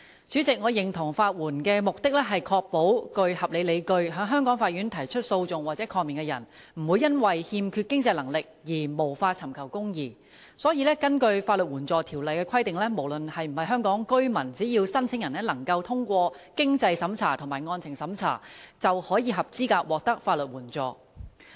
主席，我認同法援的目的，是確保具合理理據，在香港法院提出訴訟或抗命的人，不會因為欠缺經濟能力而無法尋求公義，所以根據《法律援助條例》的規定，無論是否香港居民，只要申請人通過經濟審查和案情審查，便合資格獲得法援。